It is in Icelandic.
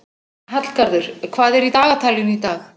Hallgarður, hvað er í dagatalinu í dag?